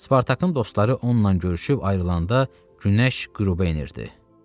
Spartakın dostları onunla görüşüb ayrılanda Günəş qüruba enirdi.